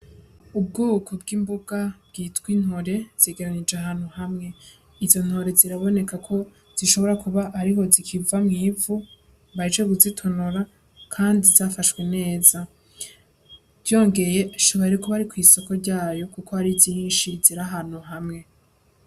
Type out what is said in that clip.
Ubwoko bw'imboga bwitwa intore zegeranirije ahantu hamwe. Izo ntore ziraboneka ko zishobora kuba ariho zikiva mw'ivu, bahejeje kuzitonora kandi zafashwe neza. Vyongeye ashobora kuba ari kw'isoko ryazo kuko ari nyinshi ziri ahantu hamwe.